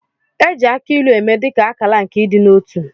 E ji akị ilu eme dị ka akala nke ịdị n'otu